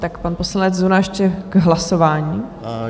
Tak pan poslanec Zuna ještě k hlasování.